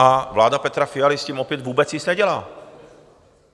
A vláda Petra Fialy s tím opět vůbec nic nedělá!